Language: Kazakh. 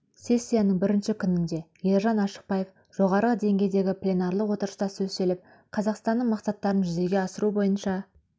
сессияның бірінші күнінде ержан ашықбаев жоғары деңгейдегі пленарлық отырыста сөз сөйлеп қазақстанның мақсаттарын жүзеге асыру бойынша